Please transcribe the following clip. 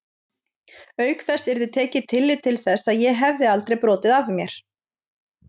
Auk þess yrði tekið tillit til þess að ég hefði aldrei brotið af mér.